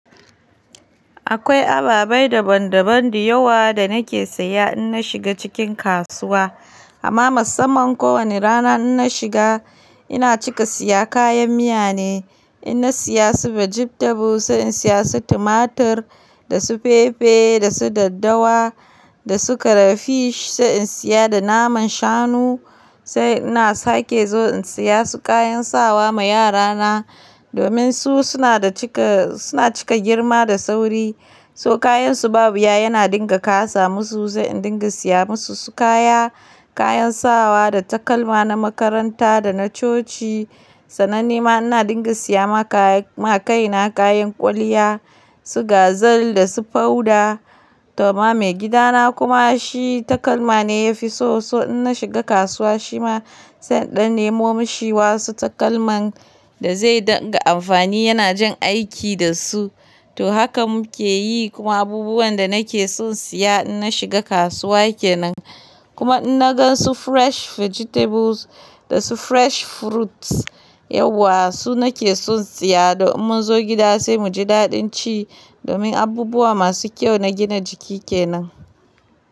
Akwai ababe dabam dabam diyawa da nake siya in nashiga cikin kasuwa. Ama masamman ko wani rana in nashiga ina cika siya kayan miya ne. In nasiya su vegetables sai in siya su tumatur da su fefe da su daddawa da su karafish sai in siya da naman shanu. Sai ina sake zo in siya su kayan sawa ma yara na domin su suna da cika, suna cika girma da sauri. So kayan su ba wuya yana dinga kasa musu sai in dinga siya musu su kaya, kayan sawa da takalma na makaranta da na coci. Sannan ni ma ina dinga siya ma kaya, ma kai na kayan kwalliya, su gazal da su powder. To ma maigida na kuma shi takalma ne yafi so, so in nashiga kasuwa shi ma sai in dan nemo mashi wasu takalman da zai dinga amfani. Yana jan aiki da su. To hakan muke yi kuma abubuwan da nake son siya in nashiga kasuwa kenan. Kuma in na gan su fresh vegetables da su fresh fruits, yauwa su nake son siya domin munzo gida sai muji daɗin ci. Domin abubuwa masu kyau na gina jiki kenan.